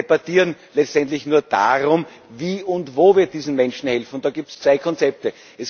Wir debattieren letztendlich nur darum, wie und wo wir diesen Menschen helfen, und da gibt es zwei Konzepte.